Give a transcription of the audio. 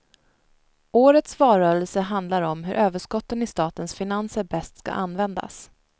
Årets valrörelse handlar om hur överskotten i statens finanser bäst ska användas.